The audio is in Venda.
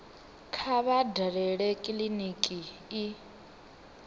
kha vha dalele kiliniki i